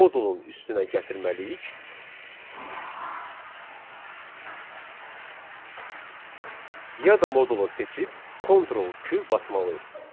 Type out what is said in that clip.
modulun üstünə gətirməliyik, ya da modulu seçib Ctrl+Q basmalıyıq.